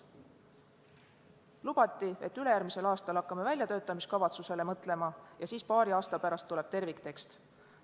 Lubati, et ülejärgmisel aastal hakatakse mõtlema väljatöötamiskavatsusele ja siis paari aasta pärast tuleb terviktekst.